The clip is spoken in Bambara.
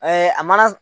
a mana